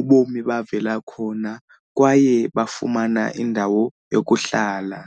ubomi bavela khona kwaye bafumana indawo yokuhlala.